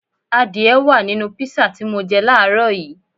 Adìẹ wá à nínú písà tí mọ jẹ láàrọ́ yìí